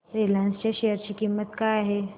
Reliance च्या share ची किंमत काय आहे